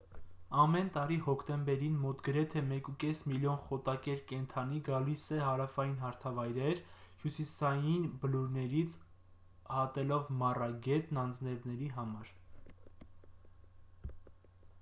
ամեն տարի հոկտեմբերին մոտ գրեթե 1.5 միլիոն խոտակեր կենդանի գալիս է հարավային հարթավայրեր հյուսիսային բլուրներից հատելով մառա գետն անձրևների համար